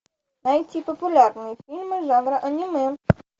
найти популярные фильмы жанра аниме